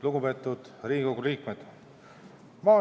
Lugupeetud Riigikogu liikmed!